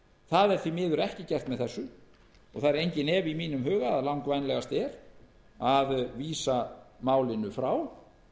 það er því miður ekki gert með þessu og það er enginn efi í mínum huga að langvænlegast er að vísa málinu frá